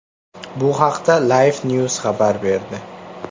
Bu haqda LifeNews xabar berdi .